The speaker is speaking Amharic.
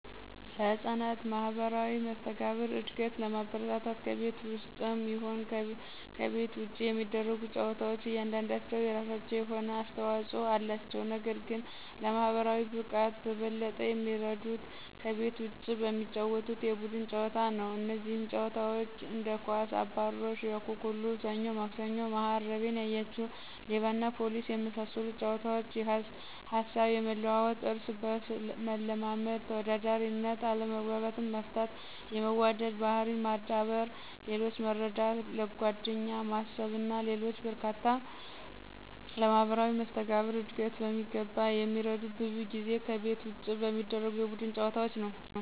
ለሕፃናት ማህበራዊ መስተጋብር እድገት ለማበረታታት ከቤት ውስጥም ይሁን ይሁን ከቤት ውጭ የሚደረጉ ጨዋታዎች እያንዳንዳቸው የራሳቸው የሆነ አስተዋጽኦ አላቸው። ነገር ግን ለማህበራዊ ብቃት በበለጠ የሚረዱት ከቤት ውጪ በሚጫወቱት የቡድን ጨዋታ ነው። እነዚህም ጨዋታዎች እንደ ኳስ፣ አባሮሽ፣ አኩኩሉ፣ ሰኞ ማክሰኞ፣ መሀረሜን ያያችሁ፣ ሌባና ፖሊስና በመሳሰሉት ጨዋታዎች ሀሳብ የመለዋወጥ፣ እርስ በርስ መለማመድ፣ ተወዳዳሪነት፣ አለመግባባትን መፍታት፣ የመዋደድ ባህሪን ማዳበር፣ ሌሎችን መረዳት፣ ለጓደኛ ማሰብና ሌሎችም በርካታ ለማህበራዊ መስተጋብር ዕድገት በሚገባ የሚረዱት ብዙ ጊዜ ከቤት ውጭ በሚደረጉ የቡድን ጨዋታዎች ነዉ።